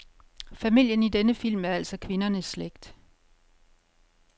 Familien i denne film er altså kvindernes slægt.